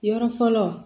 Yɔrɔ fɔlɔ